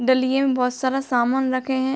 डलिये में बहोत सारे सामान रखे है।